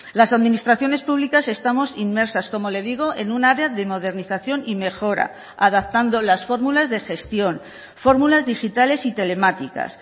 las administraciones públicas estamos inmersas como le digo en un área de modernización y mejora adaptando las fórmulas de gestión fórmulas digitales y telemáticas